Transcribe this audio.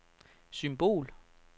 symbol